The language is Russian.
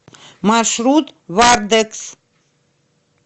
маршрут вардекс